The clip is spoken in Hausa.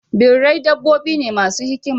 Birrai dabbobi ne masu hikima.